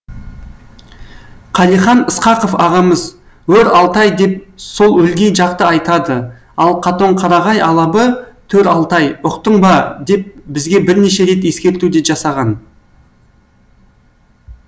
қалихан ысқақов ағамыз өр алтай деп сол өлгей жақты айтады ал катонқарағай алабы төр алтай ұқтың ба деп бізге бірнеше рет ескерту де жасаған